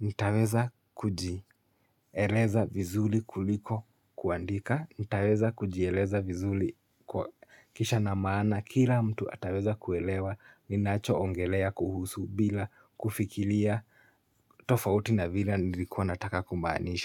nitaweza kujieleza vizuri kuliko kuandika nitaweza kujieleza vizuli kwa kisha na maana kila mtu ataweza kuelewa ninacho ongelea kuhusu bila kufikilia tofauti na vila nilikuwa nataka kumaanisha.